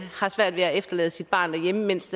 har svært ved at efterlade sit barn derhjemme mens